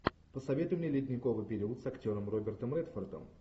посоветуй мне ледниковый период с актером робертом редфордом